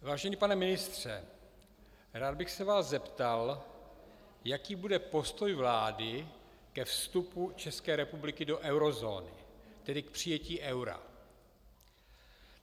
Vážený pane ministře, rád bych se vás zeptal, jaký bude postoj vlády ke vstupu České republiky do eurozóny, tedy k přijetí eura.